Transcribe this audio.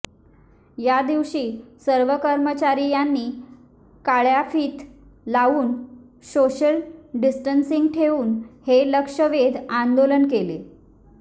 यादिवशी सर्व कर्मचारी यांनी काळ्याफीत लावून सोशल डिसटनसींग ठेवून हे लक्षवेध आंदोलन केले